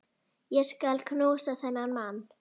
Ég skal knúsa þennan mann!